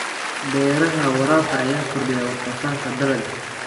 Beeraha waraabka ayaa kordhiya wax soo saarka dalagga.